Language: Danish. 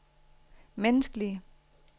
menneskelige